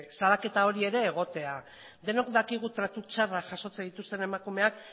salaketa hori ere egotea denok dakigu tratu txarrak jasotzen dituzten emakumeak